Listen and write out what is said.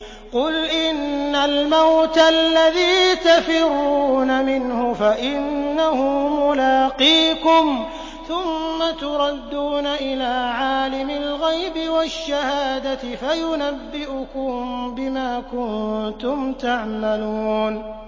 قُلْ إِنَّ الْمَوْتَ الَّذِي تَفِرُّونَ مِنْهُ فَإِنَّهُ مُلَاقِيكُمْ ۖ ثُمَّ تُرَدُّونَ إِلَىٰ عَالِمِ الْغَيْبِ وَالشَّهَادَةِ فَيُنَبِّئُكُم بِمَا كُنتُمْ تَعْمَلُونَ